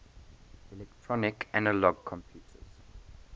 electronic analog computers